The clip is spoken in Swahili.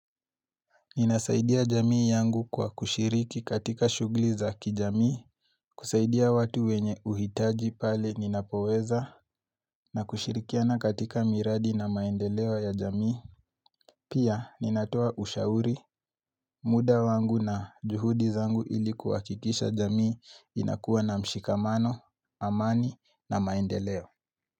Ninasaidia jamii yangu kwa kushiriki katika shugli zaki jamii, kusaidia watu wenye uhitaji pale ninapoweza, na kushirikiana katika miradi na maendeleo ya jamii. Pia ninatoa ushauri, muda wangu na juhudi zangu ili kuhakikisha jamii inakuwa na mshikamano, amani na maendeleo.